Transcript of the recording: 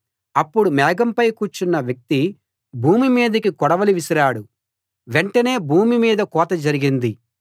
అప్పుడు మేఘంపై కూర్చున్న వ్యక్తి భూమి మీదికి కొడవలి విసిరాడు వెంటనే భూమి మీద కోత జరిగింది